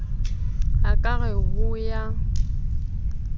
o ka re ho ya